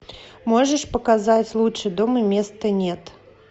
можешь показать лучше дома места нет